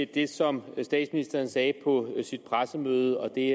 det som statsministeren sagde på sit pressemøde og det